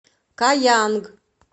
каянг